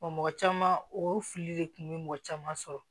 mɔgɔ caman o fili de kun bɛ mɔgɔ caman sɔrɔ